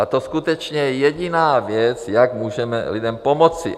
A to skutečně je jediná věc, jak můžeme lidem pomoci.